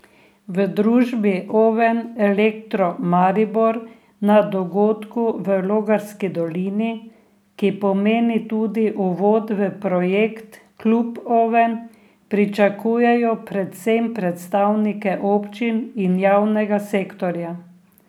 V družbi Oven Elektro Maribor na dogodku v Logarski dolini, ki pomeni tudi uvod v projekt Klub Oven, pričakujejo predvsem predstavnike občin in javnega sektorja.